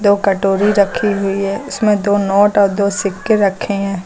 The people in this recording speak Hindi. दो कटोरी रखी हुई है इसमें दो नोट और दो सिक्के रखे हैं।